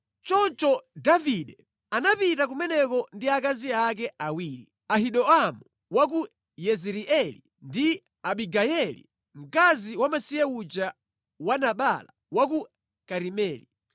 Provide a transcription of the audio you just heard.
Choncho Davide anapita kumeneko ndi akazi ake awiri, Ahinoamu wa ku Yezireeli ndi Abigayeli mkazi wamasiye uja wa Nabala wa ku Karimeli.